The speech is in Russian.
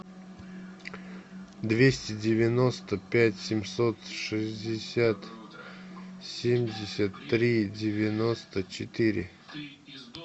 двести девяносто пять семьсот шестьдесят семьдесят три девяносто четыре